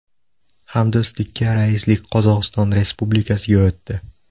Hamdo‘stlikka raislik Qozog‘iston Respublikasiga o‘tdi.